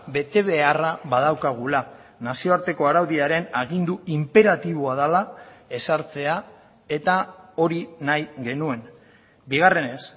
betebeharra badaukagula nazioarteko araudiaren agindu inperatiboa dela ezartzea eta hori nahi genuen bigarrenez